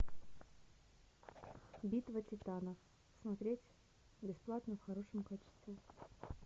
битва титанов смотреть бесплатно в хорошем качестве